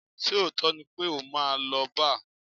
Ṣé òótọ́ ni pé o máa ń lọ bar?